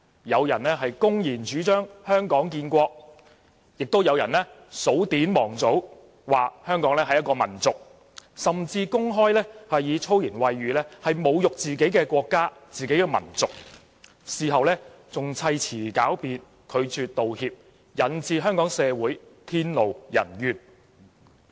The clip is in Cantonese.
有人公然主張"香港建國"，亦有人數典忘祖，說香港是一個民族，甚至公開以粗言穢語侮辱自己的國家和民族，事後還砌詞狡辯，拒絕道歉，引致天怒人怨。